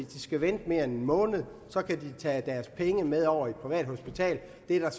de skal vente mere end en måned kan de tage deres penge med over til et privat hospital det er der så